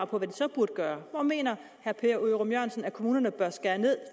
på hvad de så burde gøre hvor mener herre per ørum jørgensen at kommunerne bør skære ned